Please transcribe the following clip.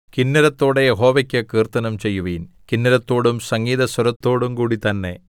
കിന്നരത്തോടെ യഹോവയ്ക്കു കീർത്തനം ചെയ്യുവിൻ കിന്നരത്തോടും സംഗീതസ്വരത്തോടും കൂടി തന്നെ